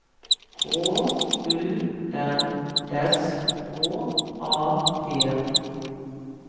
K U N S K A P